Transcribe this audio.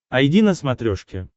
айди на смотрешке